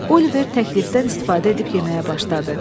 Oliver təklifdən istifadə edib yeməyə başladı.